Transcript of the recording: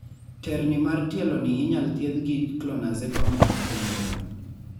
terni mar tielo ni inyal thiedhi gi clonazepam kod primidone